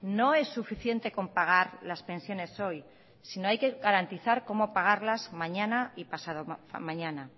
no es suficiente con pagar las pensiones hoy sino hay que garantizar cómo pagarlas mañana y pasado mañana